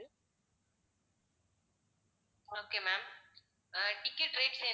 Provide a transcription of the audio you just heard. okay ma'am அஹ் ticket rates என்ன